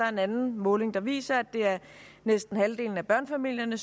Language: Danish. en anden måling der viser at det er næsten halvdelen af børnefamilierne